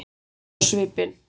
Sposk á svipinn.